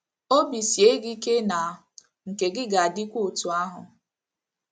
Obi sie gị ike na nke gị ga - adịkwa otú ahụ!